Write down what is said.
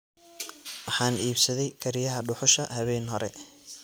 Waxaan iibsaday kariyaha dhuxusha habeen hore